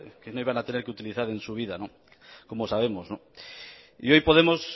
que no iban a tener que utilizar en su vida como sabemos y hoy podemos